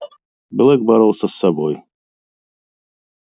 блэк боролся с собой